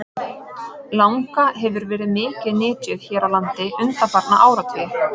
Langa hefur verið mikið nytjuð hér á landi undanfarna áratugi.